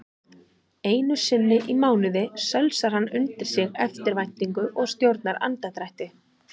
Einusinni í mánuði sölsar hann undir sig eftirvæntingu og stjórnar andardrætti.